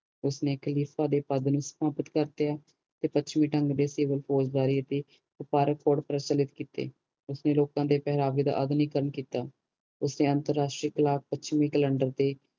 ਉਸ ਨੇ ਖਲੀਫਾ ਦੇ ਪਦ ਨੂੰ ਸਮਾਪਤ ਕਰ ਤੇਇਆ ਤੇ ਪੱਛਮੀ ਢੰਗ ਦੇ ਸਿਵਲ ਪੋਸ਼ਦਾਰੀ ਅਤੇ ਵਪਾਰਕ ਕੋਡ ਪ੍ਰਚਲਿਟ ਕੀਤੇ ਉਸ ਨੇ ਲੋਕ ਦੇ ਪਹਿਰਾਵੇ ਦਾ ਆਧੁਨਿਕਰਨ ਕੀਤਾ ਉਸ ਨੇ ਅੰਤਰਰਾਸ਼ਟਰੀ ਕਲਾਕ ਪੱਛਮੀ ਕੈਲੰਡਰ ਤੇ